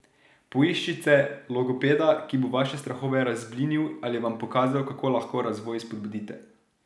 Poiščite logopeda, ki bo vaše strahove razblinil ali vam pokazal, kako lahko razvoj spodbudite.